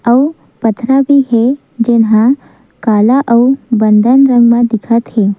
अउ पथरा भी हे जेन ह काला अउ बंदन रंग म दिखत हे।